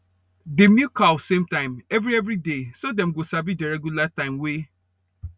dey milk cow same time every every day so dem go sabi the regular time way